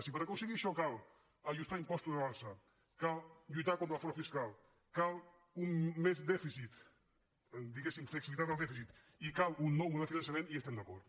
si per aconseguir això cal ajustar impostos a l’alça cal lluitar contra el frau fiscal cal més dèficit diguem ne flexibilitat del dèficit i cal un nou model de finançament hi estem d’acord